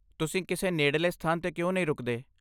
ਤੁਸੀਂ ਕਿਸੇ ਨੇੜਲੇ ਸਥਾਨ 'ਤੇ ਕਿਉਂ ਨਹੀਂ ਰੁਕਦੇ?